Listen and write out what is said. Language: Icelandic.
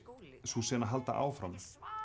sú sena halda áfram